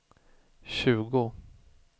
tjugo